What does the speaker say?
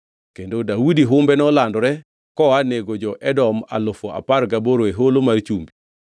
Kendo Daudi humbe nolandore koa nego jo-Edom alufu apar gaboro e Holo mar Chumbi.